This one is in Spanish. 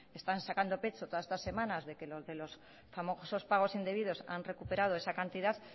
están sacando pecho todas estas semanas de que los de los famosos pagos indebidos han recuperado esa cantidad